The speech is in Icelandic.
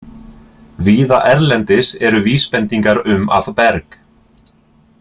Víða erlendis eru vísbendingar um að berg.